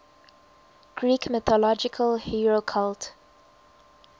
greek mythological hero cult